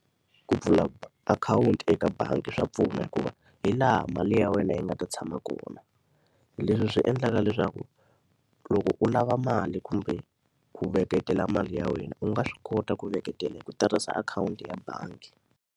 Ku pfula akhawunti eka bangi swa pfuna hikuva hi laha mali ya wena yi nga ta tshama kona. Leswi swi endlaka leswaku loko u lava mali kumbe ku veketela mali ya wena, u nga swi kota ku veketela hi ku tirhisa akhawunti ya bangi.